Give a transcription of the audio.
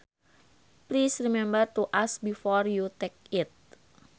Please remember to ask before you take it